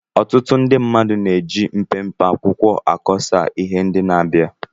Ọtụtụ ndị mmadụ na-eji mpempe akwụkwọ akọsa ihe ndị na-abịa